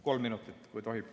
Kolm minutit, kui tohib.